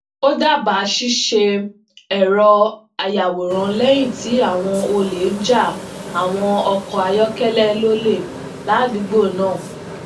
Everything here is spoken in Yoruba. ó dábàá ṣiṣe ẹrọ ayawọran léyìn tí àwọn ole n ja àwọn ọkọ ayọkẹlẹ lólè ládùúgbò náà